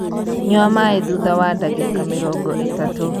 nyua maī thutha wa ndagīka mīrongo ītatū.